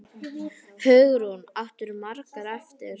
Hugrún: Áttirðu margar eftir?